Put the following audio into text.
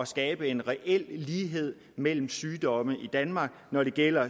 skabe en reel lighed mellem sygdomme i danmark når det gælder